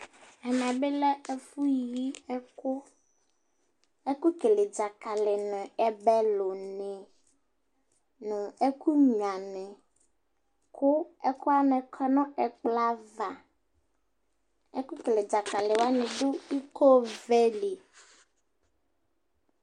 ɛmɛ bi lɛ ɛfu yi ɛkò ɛkò kele dzakali n'ɛbɛ lo ni no ɛkò nyua ni kò ɛkowani kɔ n'ɛkplɔ ava ɛkò kele dzakali wani do iko vɛ li